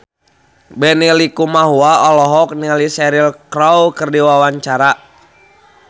Benny Likumahua olohok ningali Cheryl Crow keur diwawancara